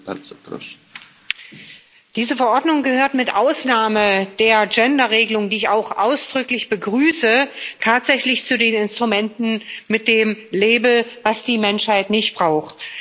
Herr Präsident! Diese Verordnung gehört mit Ausnahme der Gender Regelung, die ich auch ausdrücklich begrüße, tatsächlich zu den Instrumenten mit dem Label Was die Menschheit nicht braucht.